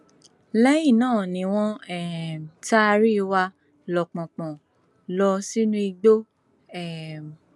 lẹyìn náà ni wọn um taari wa lọpọnpọnọn lọ sínú igbó um